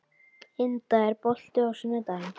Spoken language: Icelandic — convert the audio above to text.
Inda, er bolti á sunnudaginn?